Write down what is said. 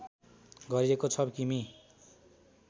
गरिएको छ किमी